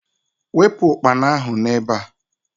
Wepụ ukpana ahu n'ebe a!